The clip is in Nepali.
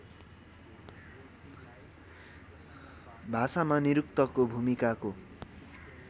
भाषामा निरुक्तको भूमिकाको